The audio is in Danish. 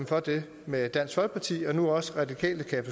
for det med dansk folkeparti og nu også de radikale kan